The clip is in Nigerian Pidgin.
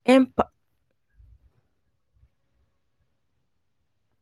empathy na better skill for person um to fit connect well with pipo